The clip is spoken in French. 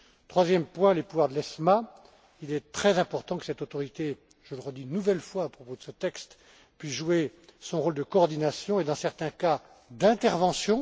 Troisième point. Concernant les pouvoirs de l'ESMA, il est très important que cette autorité je le redis une nouvelle fois à propos de ce texte puisse jouer son rôle de coordination et dans certains cas, d'intervention